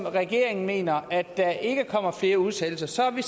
regeringen mener nemlig at der ikke kommer flere udsættelser så har vi